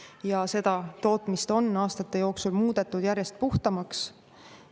Ja seda tootmist on aastate jooksul muudetud järjest puhtamaks.